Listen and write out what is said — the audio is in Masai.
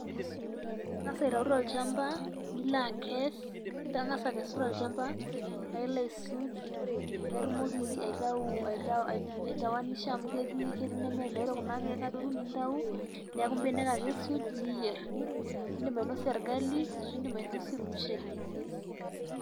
Ingas aitau tochamba ,nila akes itangasa akesu tolchamba pa ilo aisuj paa itumoki aitau aitowanisha amu ketii ineme nyay kuna kiek adoru niaku mbenek ake isuj niyier .indim ainosie orgali ashu indim ainosie ormushele.